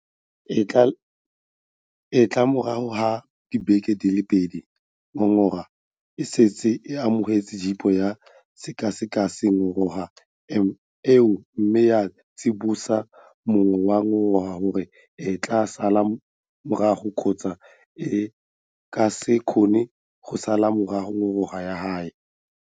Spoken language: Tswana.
E tla re morago ga dibeke di le pedi ngongora e setse e amogetswe GEPO ya sekaseka ngongora eo mme ya tsibosa mong wa ngongora gore e tla sala morago kgotsa e ka se kgone go sala morago ngongora ya gagwe.